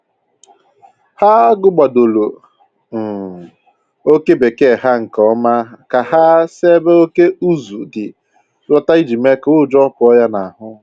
Ha gụgbadoro um oke bekee ha nke ọma ka ha si ebe oke ụzụ dị lọta iji mee ka ụjọ pụọ ya n'ahụ